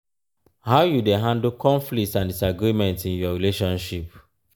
how you dey handle conflicts and disagreements in your relationship?